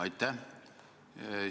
Aitäh!